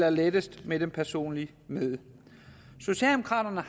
og lettest med det personlige møde socialdemokraterne